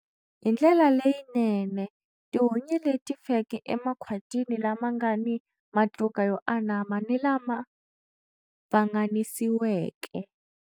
Hi ndlela leyinene tihunyi leti feke emakhwatini lama nga ni matluka yo anama ni lama pfanganisiweke.